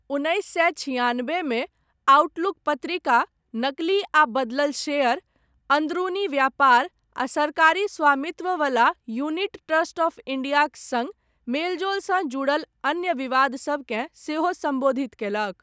उन्नैस सए छियानबेमे, आउटलुक पत्रिका, नकली आ बदलल शेयर, अन्दरूनी व्यापार, आ सरकारी स्वामित्ववला यूनिट ट्रस्ट आफ इंडियाक सङ्ग, मेलजोलसँ जुड़ल अन्य विवाद सबकेँ सेहो सम्बोधित कयलक।